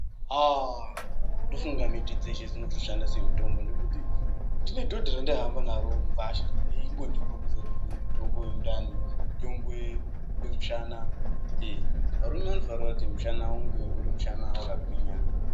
Haaaa ndofunga miti dzeshe dzotoshanda semutombo nekuti ndine dhodha randaihamba naro mugwasha reingondikombidza kuti uyu mutombo wendani mutombo wemushana varume vanofanira kuti mushana uye uri mushana wakagwinya.